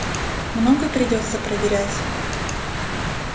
много придётся проверять